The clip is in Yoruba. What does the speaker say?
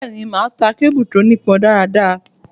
Bẹ́ẹ̀ ni, màá ta kébù tó nípọ dáadáa.